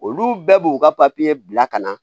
Olu bɛɛ b'u ka papiye bila ka na